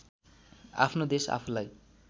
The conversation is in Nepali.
आफ्नो देश आफूलाई